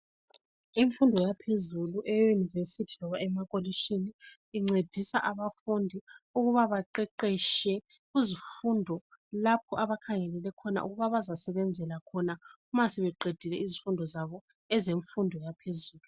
Imfundo yaphezulu eUnirvesity loba emakolitshini incedisa abafundi ukuba baqeqetshe kuzifundo lapho abakhangelele khona ukuba bazasebenzela khona uma sebeqedile izifundo zabo ezemfundo yaphezulu.